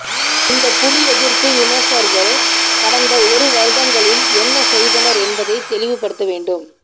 இந்த புலிஎதிர்ப்பு விமர்சகர்கள் கடந்த ஒரு வருடங்களில் என்ன செய்தனர் என்பதை தெளிவு படுத்தவேண்டும்